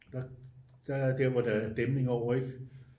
der er der hvor der er dæmning over ikke